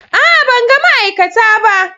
A'a! Ban ga ma'aikata ba.